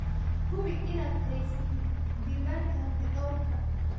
Hubi inaad haysatid diiwaanka hantidhawrka.